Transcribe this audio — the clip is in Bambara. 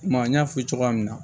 N y'a f'i ye cogoya min na